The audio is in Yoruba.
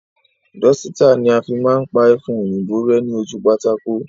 Dọ́sítà ni a fi máa ń pa ẹfun òyìnbó rẹ́ ní ojú pátákó